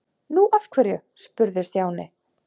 Nú, af hverju? spurði Stjáni.